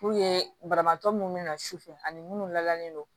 Puruke banabaatɔ munnu bɛ na sufɛ ani munnu lalen don